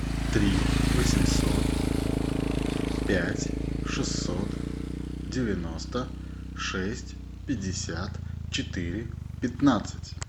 три восемьсот пять шестьсот девяносто шесть пятьдесят четыре пятнадцать